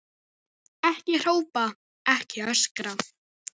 Ekki hrópa, ekki öskra!